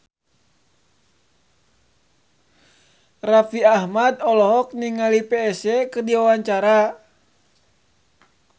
Raffi Ahmad olohok ningali Psy keur diwawancara